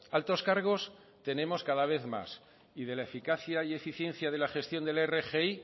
altos cargos tenemos cada vez más y de la eficacia y eficiencia de la gestión de la rgi